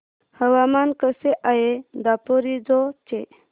हवामान कसे आहे दापोरिजो चे